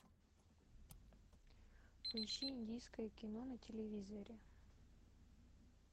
поищи индийское кино на телевизоре